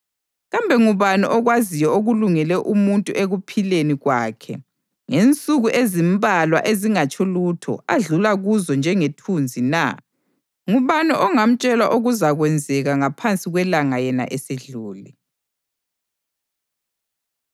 Kambe ngubani okwaziyo okulungele umuntu ekuphileni kwakhe ngensuku ezimbalwa ezingatsho lutho adlula kuzo njengethunzi na? Ngubani ongamtshela okuzakwenzeka ngaphansi kwelanga yena esedlule?